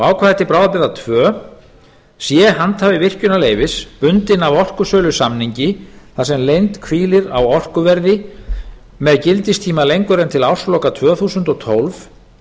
ákvæði til bráðabirgða annað sé handhafi virkjunarleyfis bundinn af orkusölusamningi þar sem leynd hvílir á orkuverði með gildistíma lengur en til ársloka tvö þúsund og tólf